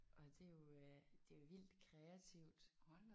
Og det er jo øh det er jo vildt kreativt